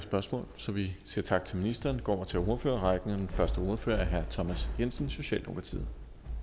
spørgsmål så vi siger tak til ministeren og går over til ordførerrækken den første ordfører er herre thomas jensen socialdemokratiet